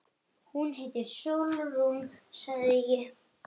Hún heitir Sólrún, sagði ég.